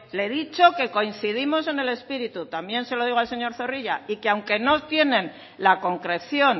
le he dicho que coincidimos en el espíritu también se lo digo al señor zorrilla y que aunque no tienen la concreción